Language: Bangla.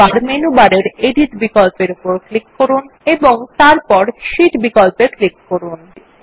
এখন আবার মেনু বারের এডিট বিকল্প উপর ক্লিক করুন এবং তারপর শীট বিকল্প এ ক্লিক করুন